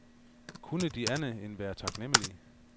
Kunne de andet end være taknemmelige?